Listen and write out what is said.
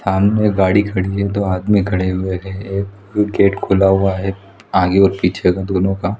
सामने मे एक गाड़ी खड़ी है दो आदमी खड़े हुए हुए है गेट खुला हुआ है आगे और पीछे का दोनों का--